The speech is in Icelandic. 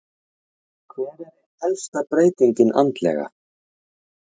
Hver er ein helsta breytingin andlega?